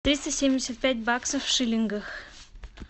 триста семьдесят пять баксов в шиллингах